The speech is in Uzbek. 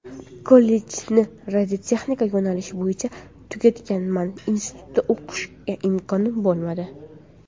Kollejni radiotexnika yo‘nalishi bo‘yicha tugatganman, institutda o‘qishga imkonim bo‘lmadi.